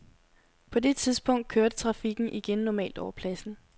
På det tidspunkt kørte trafikken igen normalt over pladsen.